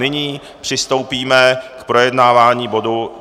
Nyní přistoupíme k projednávání bodu